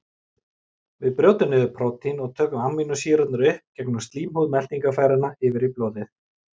Við brjótum niður prótínin og tökum amínósýrurnar upp gegnum slímhúð meltingarfæra yfir í blóðið.